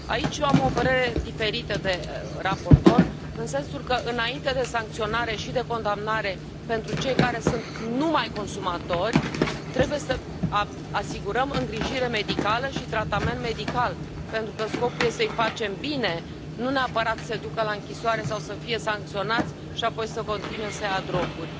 Aici eu am o părere diferită de raportor, în sensul că, înainte de sancționare și de condamnare pentru cei care sunt numai consumatori, trebuie să asigurăm îngrijire medicală și tratament medical, pentru că scopul este să i facem bine, nu neapărat să se ducă la închisoare sau să fie sancționați și apoi să continue să ia droguri.